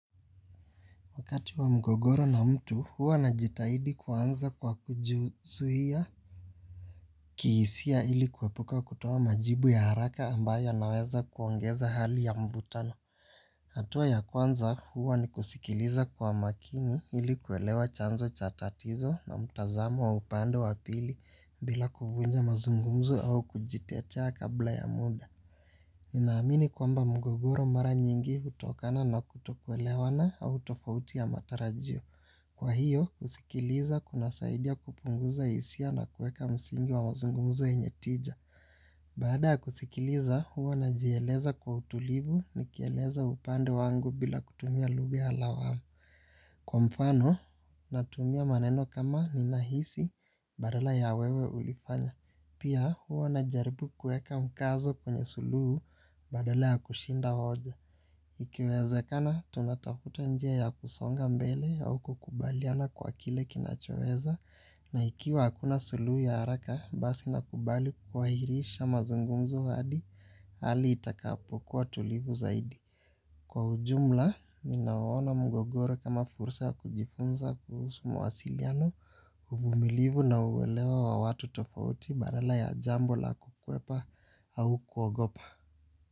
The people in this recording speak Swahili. Wakati wa mgogoro na mtu, huwa na jitahidi kuanza kwa kujizuhia kihisia ili kuepuka kutoa majibu ya haraka ambayo yanaweza kuongeza hali ya mvutano. Hatua ya kwanza huwa ni kusikiliza kwa makini ili kuelewa chanzo chatatizo na mtazamo wa upande wa pili bila kuvunja mazungumzo au kujitetea kabla ya muda. Nina amini kwamba mgogoro mara nyingi hutokana na kutokwelewana au tofauti ya matarajio. Kwa hiyo, kusikiliza kuna saidia kupunguza hisia na kueka msingi wa mazungumuzo yenye tija. Baada ya kusikiliza, huwa najieleza kwa utulivu ni kieleza upande wangu bila kutumia lugha ya lawamu. Kwa mfano, natumia maneno kama ninahisi badala ya wewe ulifanya. Pia huwa najaribu kueka mkazo kwenye sulu badala ya kushinda hoja. Ikiwezakana, tunatafuta njia ya kusonga mbele au kukubaliana kwa kile kinachoweza. Na ikiwa hakuna suluhu ya haraka, basi nakubali kuhairisha mazungumzo hadi, hali itakapokuwa tulivu zaidi. Kwa ujumla, ninaona mgogoro kama fursa kujifunza kuhusu mwasiliano, uvumilivu na uwelewa wa watu tofauti badala ya jambo la kukuwepa au kuogopa.